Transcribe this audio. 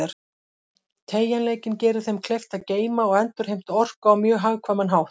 Teygjanleikinn gerir þeim kleift að geyma og endurheimta orku á mjög hagkvæman hátt.